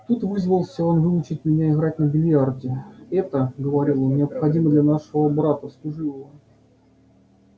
тут вызвался он выучить меня играть на биллиарде это говорил он необходимо для нашего брата служивого